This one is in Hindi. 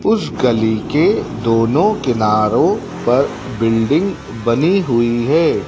उस गली के दोनों किनारो पर बिल्डिंग बनी हुई है।